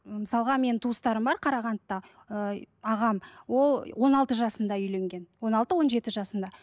ы мысалға менің туыстарым бар қарағандыда ыыы ағам ол он алты жасында үйленген он алты он жеті жасында